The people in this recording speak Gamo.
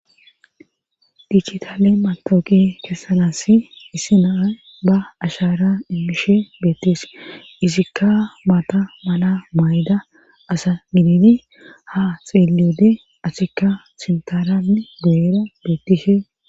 Dijitale matawuqqe kesanassi issi nay ba ashara immishe beetees izika mata mala mayida asa gididi ha xeeliyode asikka sinthara guyera beetishe.